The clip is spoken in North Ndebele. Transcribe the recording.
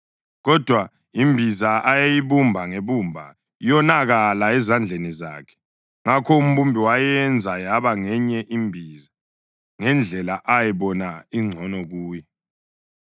Kodwa imbiza ayeyibumba ngebumba yonakala ezandleni zakhe; ngakho umbumbi wayenza yaba ngenye imbiza, ngendlela ayibona ingcono kuye.